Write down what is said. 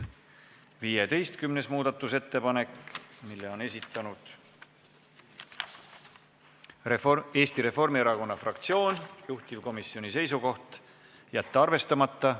15. muudatusettepanek, mille on esitanud Eesti Reformierakonna fraktsioon, juhtivkomisjoni seisukoht: jätta arvestamata.